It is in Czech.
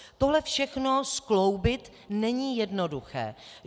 Tohle všechno skloubit není jednoduché.